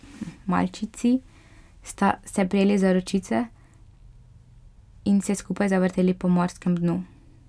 Malčici sta se prijeli za ročice in se skupaj zavrteli po morskem dnu.